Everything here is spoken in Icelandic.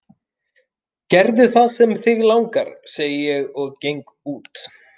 Gerðu það sem þig langar, segi ég og geng út.